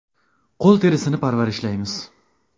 Qo‘l terisini parvarishlaymiz.